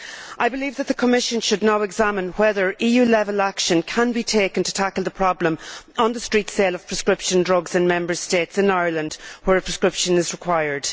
I believe that the Commission should now examine whether EU level action can be taken to tackle the problem of street sales of prescription drugs in Member States and Ireland where a prescription is required.